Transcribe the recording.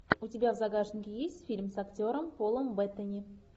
у тебя в загашнике есть фильм с актером полом беттани